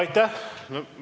Aitäh!